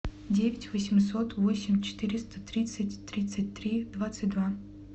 девять восемьсот восемь четыреста тридцать тридцать три двадцать два